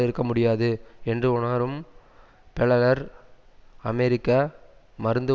இருக்க முடியாது என்று உணரும் பெளலர் அமெரிக்க மருந்து